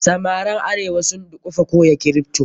Samaran arewa sun dukufa koya kripto.